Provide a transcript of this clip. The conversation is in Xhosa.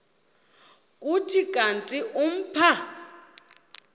kuthi kanti umpha